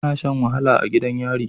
Ana Shan wahala a gidan yari